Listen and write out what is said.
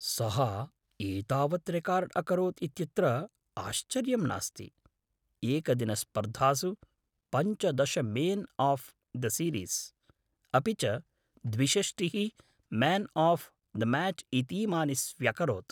सः एतावत् रेकार्ड् अकरोत् इत्यत्र आश्चर्यं नास्ति, एकदिनस्पर्धासु पञ्चदश मेन् आफ़् द सीरीस् अपि च द्विषष्टिः मेन् आफ़् द मैच् इतीमानि स्व्यकरोत्।